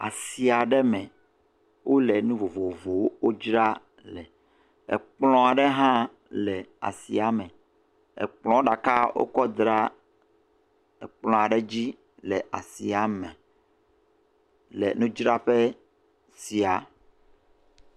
Asi aɖe me, wole nu vovovowo dzraa le. Kplɔ̃ ɖe hã le asia me. Kplɔ̃ ɖeka wokɔe da ɖe kplɔ̃ aɖe dzi le asia me le nudzraƒe sia.